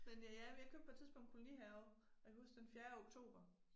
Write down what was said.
Men øh ja jeg men købte på et tidspunkt kolonihave og jeg kan huske den fjerde oktober